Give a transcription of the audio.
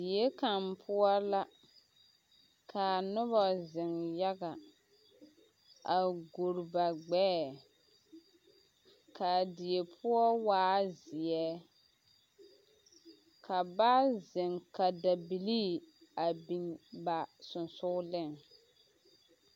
Die kaŋ poɔ la ka noba zeŋ yaga a guole ba gbɛɛ ka a die poɔ waa zeɛ ka ba zeŋ ka dabilii a biŋ ba seŋsogleŋ.